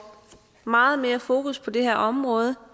meget mere fokus på det her område